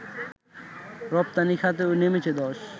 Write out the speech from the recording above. রপ্তানি খাতেও নেমেছে ধস